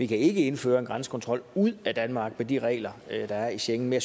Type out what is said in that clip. kan indføre en grænsekontrol ud af danmark med de regler der er i schengen men